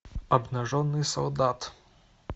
обнаженный солдат